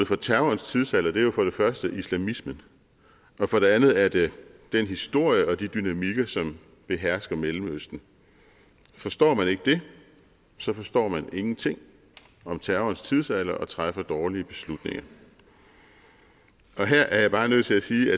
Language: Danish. for terrorens tidsalder er jo for det første islamismen og for det andet er det den historie og de dynamikker som behersker mellemøsten forstår man ikke det så forstår man ingenting om terrorens tidsalder og træffer dårlige beslutninger her er jeg bare nødt til at sige